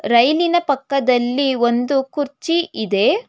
ರೈಲಿ ನ ಪಕ್ಕದಲ್ಲಿ ಒಂದು ಕುರ್ಚಿ ಇದೆ.